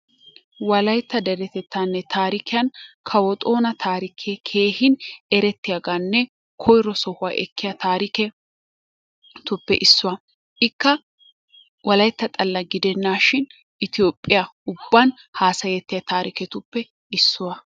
Wolayitta deretettaaninne taarikiyan kawo xoona taarike keehin erettiyaagaanne koyiro sohuwaa ekkiya taariketuppe issuwaa. Ikka wolayitta xalla gidennaashin Ettiyoophphiya ubban haasayettiya taariketuppe issuwaa.